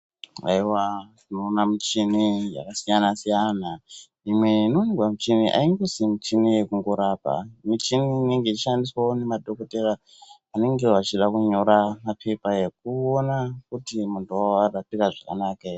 Haiwa tinoona muchini yakasiyana siyana imwe . Imwe inowanikwa muchini angosi muchini yekurapa , muchini inenge yeishandiswawo nemadhokodheya vanenge vachida kunyora mapepa ekuona kuti munhu warapika zvakanaka here.